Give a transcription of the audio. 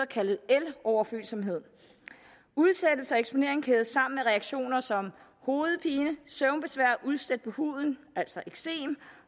kaldet eloverfølsomhed udsættelse og eksponering kædes sammen med reaktioner som hovedpine søvnbesvær udslæt på huden altså eksem